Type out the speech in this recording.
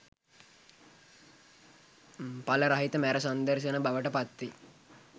එල රහිත මැර සංදර්ශන බවට පත් වේ